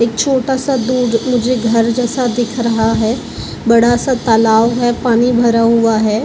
एक छोटा सा दूध मुझे घर जैसा दिख रहा है बड़ा सा तालाब है पानी भरा हुआ है।